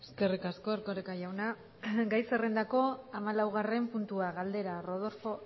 eskerrik asko erkoreka jauna gai zerrendako hamalaugarren puntua galdera rodolfo